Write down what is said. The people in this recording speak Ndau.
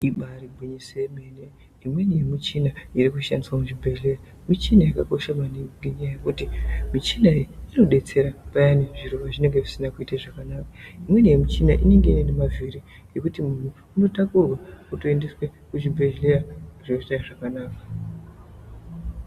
Ibari gwinyiso yemene imweni yemichina irikushandiswa muzvibhedhlera michina yakakosha maningi ngenyaya yekuti muchina iyi inodetsera payani zviro pazvinenge zvisina kuita zvakanaka imweni yemichina iyi inenge ine mavhiri ekuti munhu unotakurwa otoendeswe kuzvibhedhlera zvotoita zvakanaka.